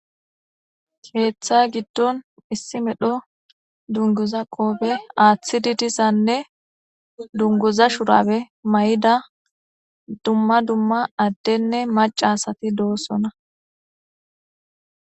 keeththa giddon issi medho dunguza qoobe aaththidi disanne dunguza shurabe may7ida dumma dumma addenne macasati doossona